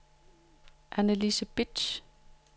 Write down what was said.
Annelise Bitsch